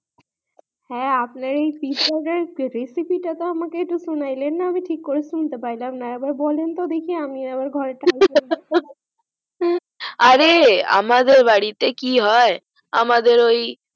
হ্যা আপনার এই recipe তো একটু আমাকে শুনাই লান না আমি ঠিক করা শুনতে পাইলাম না আরে আমাদের বাড়ি তে কি হয়